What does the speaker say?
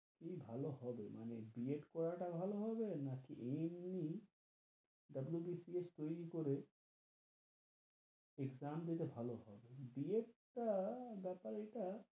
কি ভালো হবে, মানে বি এড করা টা ভালো হবে? না কি এমনি WBCS তৈরী করে exam দিতে ভালো হবে, বি এড টা বেপার ইটা,